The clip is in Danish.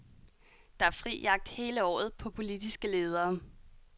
Der er fri jagt hele året på politiske ledere.